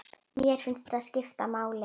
Mér finnst það skipta máli.